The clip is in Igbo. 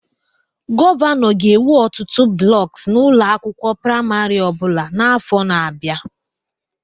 Gọvanọ ga-ewu ọtụtụ blocks na ụlọ akwụkwọ praịmarị ọ bụla n'afọ na-abịa